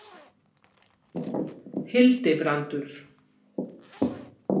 Hildibrandur